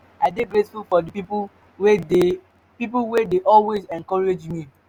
i dey grateful for di people wey dey people wey dey always encourage me.